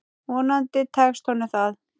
Vonandi tekst honum það.